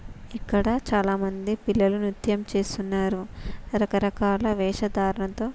ఇక్కడ చాలా మంది పిల్లలు నిత్యం చేస్తున్నారు రకరకాలా వేష ధారణతో --